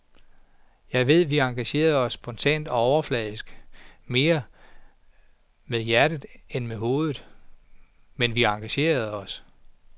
Jeg ved, at vi engagerer os spontant og overfladisk, mere med hjertet end med hovedet, men vi engagerer os.